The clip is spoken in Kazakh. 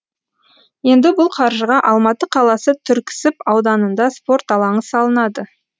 енді бұл қаржыға алматы қаласы түрксіб ауданында спорт алаңы салынады